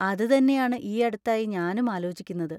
അത് തന്നെയാണ് ഈയടുത്തായി ഞാനും ആലോചിക്കുന്നത്.